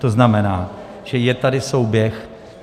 To znamená, že je tady souběh.